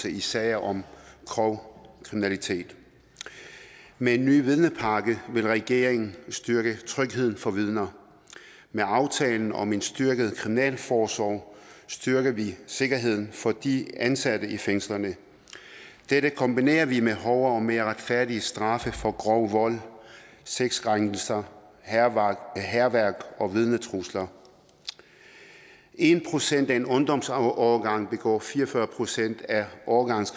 i sager om grov kriminalitet med en ny vidnepakke vil regeringen styrke trygheden for vidner med aftalen om en styrket kriminalforsorg styrker vi sikkerheden for de ansatte i fængslerne dette kombinerer vi med hårdere og mere retfærdige straffe for grov vold sexkrænkelser hærværk hærværk og vidnetrusler en procent af en ungdomsårgang begår fire og fyrre procent af årgangens